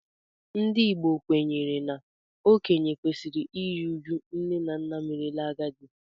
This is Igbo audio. Ndị Igbo kwenyere na okenye kwesịrị iru uju nne na nna merela agadi